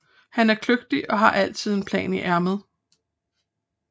Han er kløgtig og har altid en plan i ærmet